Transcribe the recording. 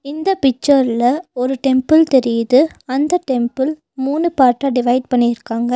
இந்த பிக்சர்ல ஒரு டெம்புள் தெரியுது அந்த டெம்புள் மூணு பார்ட்டா டிவைட் பண்ணிருக்காங்க.